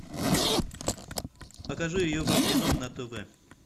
покажи евро кино на тв